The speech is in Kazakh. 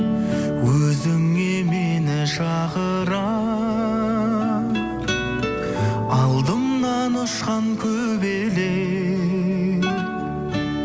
өзіңе мені шақырар алдымнан ұшқан көбелек